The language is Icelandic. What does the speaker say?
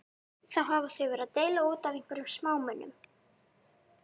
Þá hafa þau verið að deila út af einhverjum smámunum.